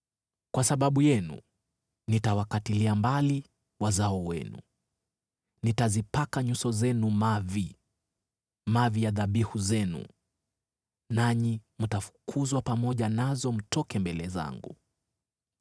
“Kwa sababu yenu nitawakatilia mbali wazao wenu. Nitazipaka nyuso zenu mavi, mavi ya dhabihu zenu. Nanyi mtafukuzwa pamoja nazo mtoke mbele zangu.